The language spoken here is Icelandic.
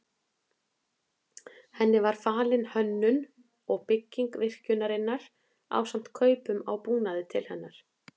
Henni var falin hönnun og bygging virkjunarinnar ásamt kaupum á búnaði til hennar.